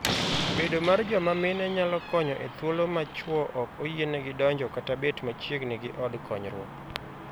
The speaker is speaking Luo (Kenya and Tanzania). Bedo mar joma mine nyalo konyo e thuolo ma chwo ok oyienegi donjo kata bet machiegni gi od konyruok.